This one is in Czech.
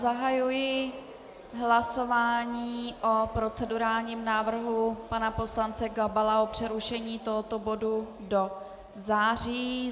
Zahajuji hlasování o procedurálním návrhu pana poslance Gabala o přerušení tohoto bodu do září.